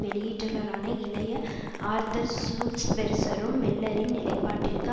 வெளியீட்டளரான இளைய ஆர்தர் சூல்ஸ்பெர்சரும் மில்லரின் நிலைப்பாட்டிற்கு